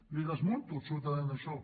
li desmunto absolutament això